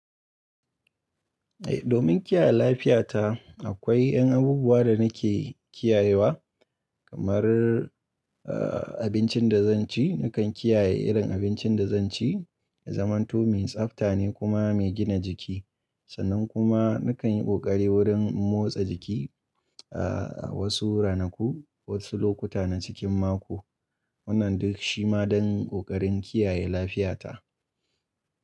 Eh, domin kiyaye lafiyata akwai yan abubuwa da nake kiyayewa kamar, abincin da zan ci. Nakan kiyaye irin abincin da zan ci, ya zamato mai tsafta ne kuma mai gina jiki. Sannan kuma nakan yi ƙoƙari wurin motsa jiki, a wasu ranaku, wasu lokuta na cikin mako. Wannan duk shi ma don ƙoƙarin kiyaye lafiyata.